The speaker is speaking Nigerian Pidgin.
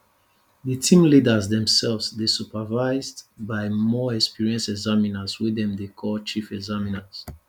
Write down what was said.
di team leaders demsefs dey supervised by more experienced examiners wey dem dey call chief examiners